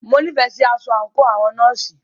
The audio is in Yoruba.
Mo nífẹẹ sí aṣọ àńkò àwọn nọ́ọ̀sì.